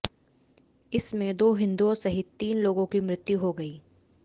इस में दो हिन्दुओं सहित तीन लोगों की मृत्यु हो गयी